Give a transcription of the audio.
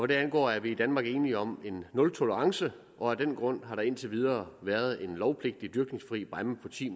det angår er vi i danmark enige om en nultolerance og af den grund har der indtil videre været en lovpligtig dyrkningsfri bræmme på ti